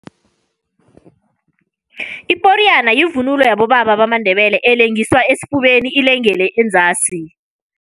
Iporiyana yivunulo yabobaba bamaNdebele, elengiswa esifubeni ilengele enzasi.